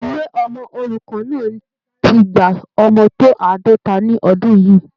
Ilé ọmọ òrukàn náà ti gba ọmọ tó àádọ́ta ní ọdún yìí.